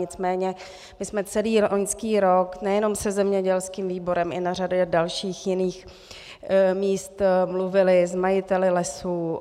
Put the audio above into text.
Nicméně my jsme celý loňský rok nejenom se zemědělským výborem, i na řadě dalších jiných míst mluvili s majiteli lesů.